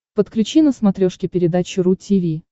подключи на смотрешке передачу ру ти ви